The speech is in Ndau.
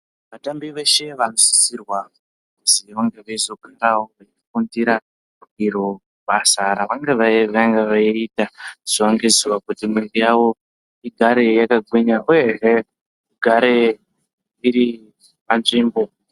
Vatambi veshe vanosisirwa kuzi vange veizogonawo kufundira iro basa ravanenge veiita zuwa ngezuwa kuti mwiiro yavo igare yakagwinya uyehe igare iri panzvimbo.